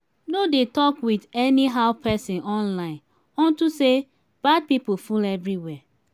no dey talk with anyhow person online unto say bad people full everywhere